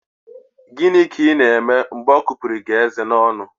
Gịnị ka Ị na-eme mgbe ọ kupụrụ gị eze n'ọnụ?